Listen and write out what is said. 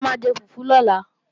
A máa jẹ fùfú lọ́la